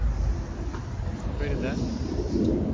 Førde